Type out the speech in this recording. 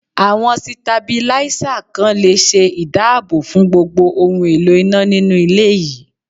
Àwọn Sitabílísà kan le ṣe ìdáàbò fún gbogbo ohun èlò iná nínú ilé yìí.